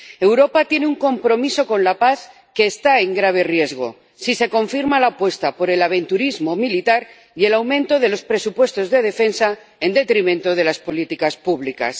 Europa tiene un compromiso con la paz que está en grave riesgo, si se confirma la apuesta por el aventurerismo militar y el aumento de los presupuestos de defensa en detrimento de las políticas públicas.